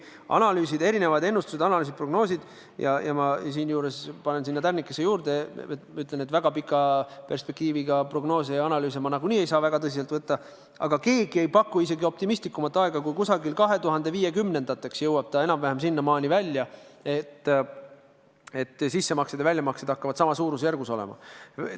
On analüüsid, erinevad ennustused, prognoosid – ma siinkohal panen tärnikese juurde ja ütlen, et väga pika perspektiiviga prognoose ja analüüse ma nagunii ei saa väga tõsiselt võtta –, aga keegi ei paku optimistlikumat aega kui seda, et 2050. aastateks jõuame enam-vähem sinnamaani välja, et sissemaksed ja väljamaksed hakkavad samas suurusjärgus olema.